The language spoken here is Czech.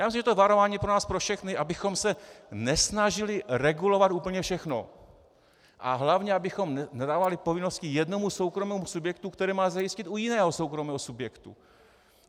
Já myslím, že je to varování pro nás pro všechny, abychom se nesnažili regulovat úplně všechno a hlavně abychom nedávali povinnosti jednomu soukromému subjektu, které má zajistit u jiného soukromého subjektu.